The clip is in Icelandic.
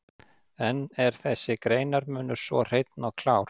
En er þessi greinarmunur svo hreinn og klár?